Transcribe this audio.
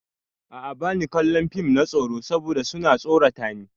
A'a bani kallon fim na tsoro saboda su na tsorata ni.